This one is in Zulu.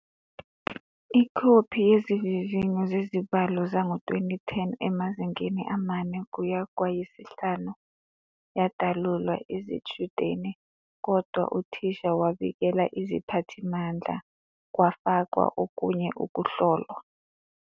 Ikhophi yezivivinyo zezibalo zango-2010, emazingeni amane kuya kwayisihlanu, yadalulwa izitshudeni, kodwa uthisha wabikela iziphathimandla kwafakwa okunye ukuhlolwa.